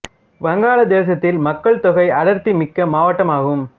வங்காள தேசத்தில் மக்கள் தொகை அடர்த்தி மிக்க மாவட்டம் ஆகும்